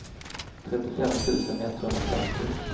trettiofem tusen etthundrafemtio